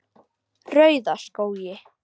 Rauðaskógi